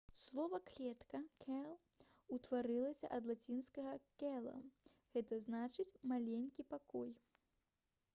слова «клетка» cell утварылася ад лацінскага cella г. зн. «маленькі пакой»